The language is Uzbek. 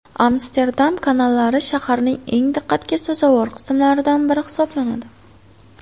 Amsterdam kanallari shaharning eng diqqatga sazovor qismlaridan biri hisoblanadi.